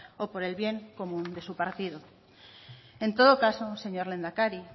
o por el bien común de su partido en todo caso señor lehendakari